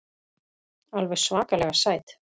Alveg svakalega sæt.